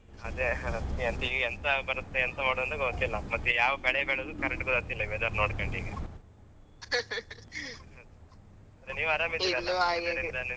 ಅದೇ ಅಹ್ ಎಂತ ಈ ಎಂತ ಬರುತ್ತೆ ಎಂತ ಮಾಡುದಂತ ಗೊತ್ತಾತಿಲ್ಲ ಮತ್ತೆ ಯಾವ್ ಬೆಳೆ ಬೆಳೆದು correct ಗೊತ್ತಾತಿಲ್ಲ ಈ weather ನೋಡ್ಕಂಡು ಈಗ ಅಂದ್ರೆ ನೀವ್ ಆರಾಮಿದೀರಲ್ಲಾ? .